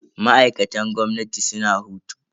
Ma'aikatan gwamnati suna hutu.